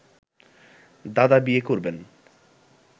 দাদা বিয়ে করবেন